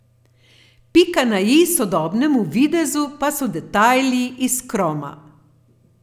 Pika na i sodobnemu videzu pa so detajli iz kroma.